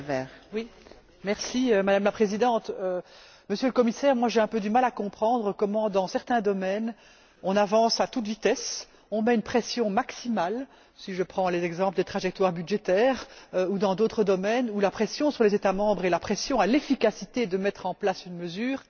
Madame la Présidente, Monsieur le Commissaire, personnellement, j'ai un peu de mal à comprendre comment, dans certains domaines, on avance à toute vitesse, on met une pression maximale si je prends les exemples des trajectoires budgétaires ou d'autres domaines, où la pression sur les États membres et la pression à l'efficacité de mettre en place une mesure est extrêmement grande.